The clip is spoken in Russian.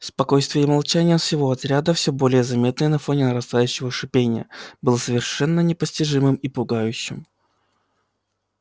спокойствие и молчание всего отряда всё более заметное на фоне нарастающего шипения было совершенно непостижимым и пугающим